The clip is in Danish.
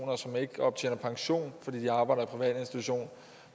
og som ikke optjener pension fordi de arbejder privat institution